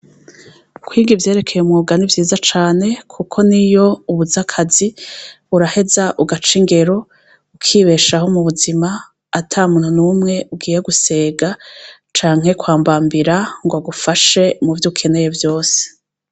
Kwiga ivyerekeye umwuga ni vyiza cane, kuko ni yo ubuzakazi buraheza ugaca ingero ukibesha aho mu buzima ata muntu n'umwe ugiye gusega canke kwambambira ngo agufashe muvyo ukeneye vyose.